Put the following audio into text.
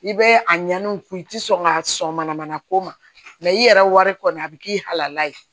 I bɛ a ɲani u kun i tɛ sɔn ka sɔn mana mana k'o ma i yɛrɛ wari kɔni a bɛ k'i halala ye